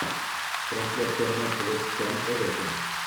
трансляция матча вест хэм эвертон